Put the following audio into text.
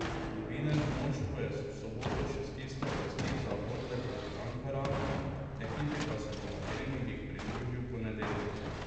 Novinec v moštvu je v soboto še stiskal pesti za orle proti Ankaranu, ekipi pa se bo na treningih pridružil v ponedeljek.